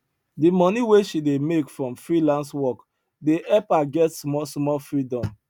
the money wey she dey make from freelance work dey help her get smallsmall freedom